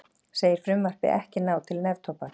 Segir frumvarpið ekki ná til neftóbaks